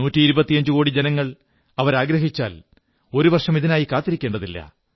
നൂറ്റിയിരുപത്തിഞ്ചുകോടി ജനങ്ങൾ അവരാഗ്രഹിച്ചാൽ ഒരു വർഷം ഇതിനായി കാത്തിരിക്കേണ്ടതില്ല